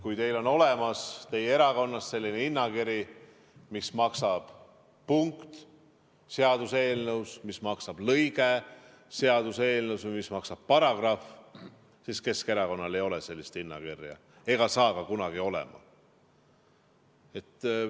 Kui teie erakonnas on olemas selline hinnakiri, et mis maksab punkt seaduseelnõus, mis maksab lõige seaduseelnõus või mis maksab paragrahv, siis Keskerakonnal ei ole sellist hinnakirja ega saa ka kunagi olema.